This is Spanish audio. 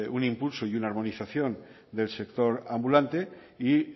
un impulso y una armonización del sector ambulante y